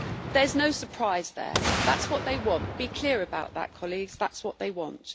Well, there is no surprise there that's what they want. Be clear about that, colleagues. That's what they want.